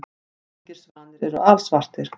Engir svanir eru alsvartir.